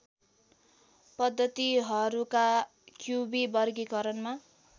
पद्धतिहरूका क्युबी वर्गीकरणमा